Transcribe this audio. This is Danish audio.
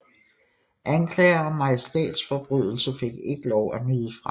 Anklager om majestætsforbrydelse fik ikke lov at nyde fremme